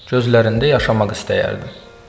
Gözlərində yaşamaq istəyərdim.